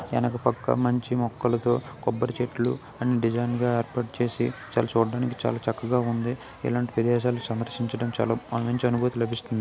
ఎనక పక్క మంచి మొక్కలతో కొబ్బరి చెట్లు డిజైన్ గా ఏర్పాటు చేసి చూడడానికి చాలా చక్కగా ఉంది. ఇలాంటి ప్రదేశాలు సందర్శించడం మంచి అనుభూతి లబిస్తుంది